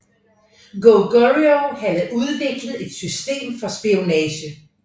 Goguryeo havde udviklet et system for spionage